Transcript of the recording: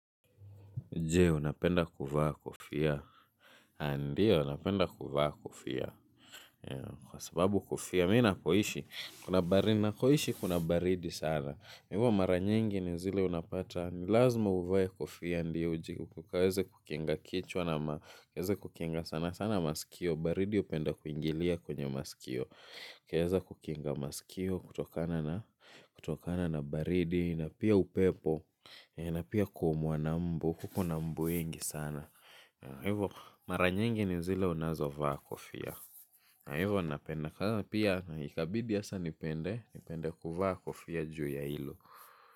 Jee, unapenda kuvaa kofia. Ndio, napenda kuvaa kofia. Kwa sababu kofia, mimi napoishi, kuna baridi sana. Kwa hivyo mara nyingi ni zile unapata, ni lazma uvae kofia ndio uji. Ukaweze kukinga kichwa na maweze kukinga sana, sana masikio. Baridi hupenda kuingilia kwenye masikio. Ukaweza kukinga masikio, kutokana na baridi, na pia upepo, na pia kuumwa na mbu, kuko na mbu wengi sana. Hivo mara nyingi ni zile unazovaa kofia. Hivo napenda. Pia ikabidi hasa nipende nipende kuvaa kofia juu ya hilo.